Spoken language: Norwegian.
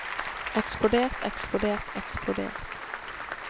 eksplodert eksplodert eksplodert